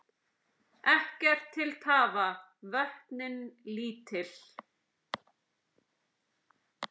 Ekkert til tafa, vötnin lítil.